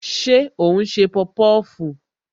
Ṣé o n se popofu?